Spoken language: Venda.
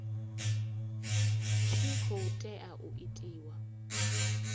tshi khou tea u itiwa